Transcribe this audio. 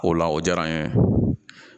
O la o diyara n ye